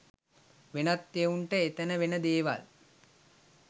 වෙනත් එවුන්ට එතන වෙන දේවල්